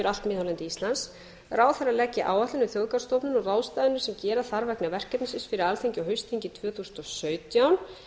allt miðhálendi íslands ráðherra leggi áætlun um þjóðgarðsstofnun og ráðstafanir sem gera þarf vegna verkefnisins fyrir alþingi á haustþingi tvö þúsund og sautján